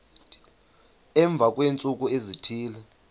emva kweentsuku ezithile